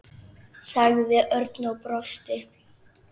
sagði Örn og brosti.